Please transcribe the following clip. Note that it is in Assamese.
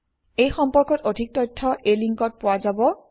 এই সম্পৰ্কত অধিক তথ্য এই লিংকত পোৱা যাব